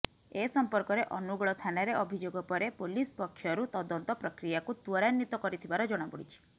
ଏ ସମ୍ପର୍କରେ ଅନୁଗୋଳ ଥାନାରେ ଅଭିଯୋଗ ପରେ ପୋଲିସ ପକ୍ଷରୁ ତଦନ୍ତ ପ୍ରକ୍ରିୟାକୁ ତ୍ୱରାନ୍ୱିତ କରିଥିବାର ଜଣାପଡ଼ିଛି